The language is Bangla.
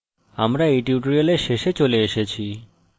আমরা we tutorial শেষে চলে এসেছি